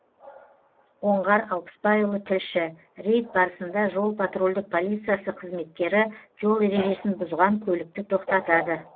оңғар алпысбайұлы тілші рейд барысында жол патрульдік полициясы қызметкері жол ережесін бұзған көлікті тоқтатады